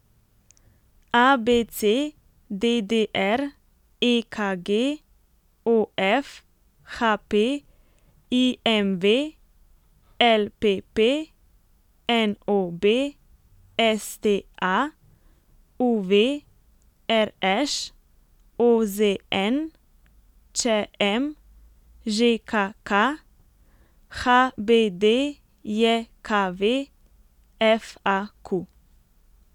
A B C; D D R; E K G; O F; H P; I M V; L P P; N O B; S T A; U V; R Š; O Z N; Č M; Ž K K; H B D J K V; F A Q.